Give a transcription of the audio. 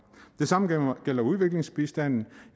det samme gælder udviklingsbistanden